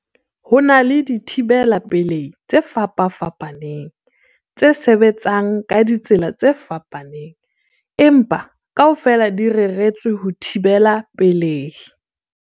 Ho na le dithibela pelehi tse fapafapaneng tse sebetsang ka ditsela tse fapaneng, empa kaofela di reretswe ho thibela pelehi.